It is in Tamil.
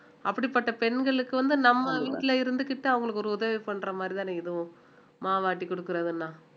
அப்படிப்பட்ட பெண்களுக்கு வந்து நம்ம வீட்டுல இருந்துகிட்டு அவங்களுக்கு ஒரு உதவி பண்ற மாதிரி தானே இதுவும் மாவாட்டி கொடுக்கிறதுன்னா